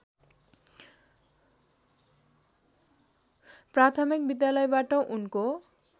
प्राथमिक विद्यालयबाट उनको